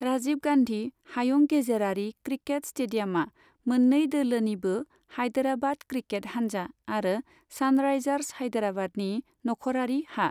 राजीब गान्धि हायुं गेजेरारि क्रिकेत स्टेदियामा मोन्नै दोलोनिबो हायदेराबाद क्रिकेट हानजा आरो सानरायजार्स हायदेराबादनि नखरारि हा।